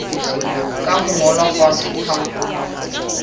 ka ho ngolwa fatshe ha